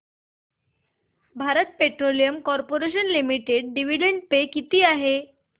Bharat petroleum corporation limited dividend पे किती आहे